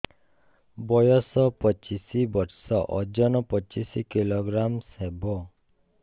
ବୟସ ପଚିଶ ବର୍ଷ ଓଜନ ପଚିଶ କିଲୋଗ୍ରାମସ ହବ